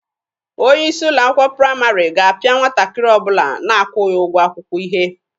Onye isi ụlọ akwụkwọ praịmarị ga-apịa nwatakịrị ọbụla na-akwụghị ụgwọ akwụkwọ ihe.